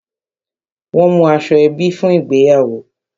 Won mú aṣọ ebi fún ìgbéyàwó